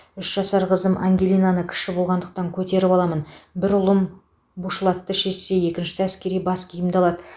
үш жасар қызым ангелинаны кіші болғандықтан көтеріп аламын бір ұлым бушлатты шешсе екіншісі әскери бас киімді алады